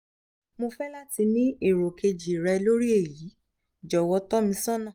mo fe lati ni ero keji re lori eyi jowo itosona